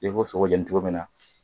I b'o sogo jeni cogo min na